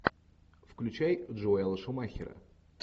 включай джоэла шумахера